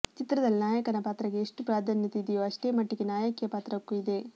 ಚಿತ್ರದಲ್ಲಿ ನಾಯಕನ ಪಾತ್ರಕ್ಕೆ ಎಷ್ಟು ಪ್ರಾಧಾನ್ಯತೆ ಇದೆಯೋ ಅಷ್ಟೇ ಮಟ್ಟಿಗೆ ನಾಯಕಿಯ ಪಾತ್ರಕ್ಕೂ ಇದೆ